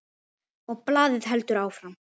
Og blaðið heldur áfram